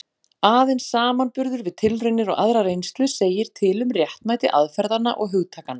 Aðeins samanburður við tilraunir og aðra reynslu segir til um réttmæti aðferðanna og hugtakanna.